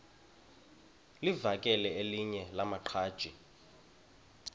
livakele elinye lamaqhaji